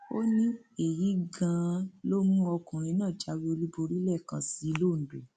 ó ní èyí gan an ló mú ọkùnrin náà jáwé olúborí lẹẹkan sí i londo